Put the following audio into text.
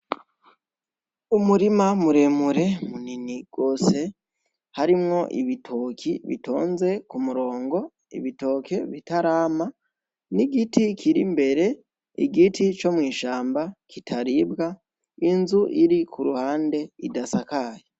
Umurima muremure munini rwose harimwo ibitoki bitonze ku murongo ibitoke bitarama n'igiti kiri mbere igiti co mw'ishamba kitaribwa inzu iri ku ruhande idasakaye.